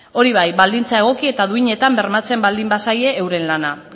hori bai baldintza egoki eta duinetan bermatzen baldin bazaie euren lana